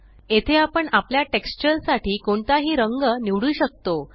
येथे आपण आपल्या टेक्स्चर साठी कोणताही रंग निवडू शकतो